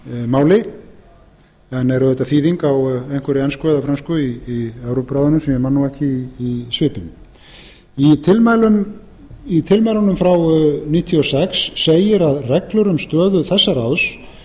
máli en er auðvitað þýðing á einhverri ensku eða frönsku í evrópuráðinu sem ég man nú ekki í svipinn í tilmælunum frá nítján hundruð níutíu og sex segir að reglur um stöðu þessa ráðs